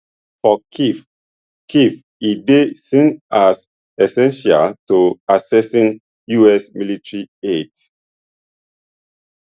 for kyiv kyiv e dey seen as essential to accessing us military aid